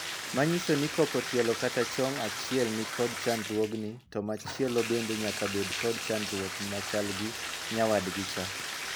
Ma nyiso ni kopo tielo kata chong achiel ni kod chandruogni to machielo bende nyaka bed kod chandruok machal gi nyawadgicha.